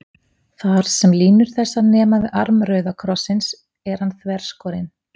Þar, sem línur þessar nema við arm rauða krossins, er hann þverskorinn.